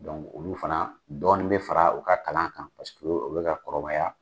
olu fana dɔɔni bɛ fara u ka kalan kan paseke u bɛ ka kɔrɔbaya.